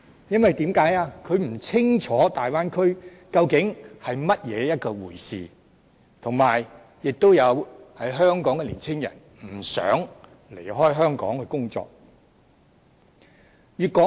因為他們不清楚大灣區究竟是甚麼一回事，以及香港的年青人不想離開香港到內地工作。